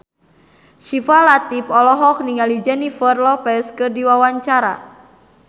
Syifa Latief olohok ningali Jennifer Lopez keur diwawancara